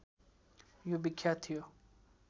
यो विख्यात थियो